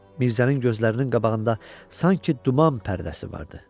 Mirzənin gözlərinin qabağında sanki duman pərdəsi vardı.